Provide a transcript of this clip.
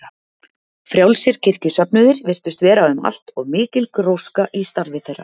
Frjálsir kirkjusöfnuðir virtust vera um allt og mikil gróska í starfi þeirra.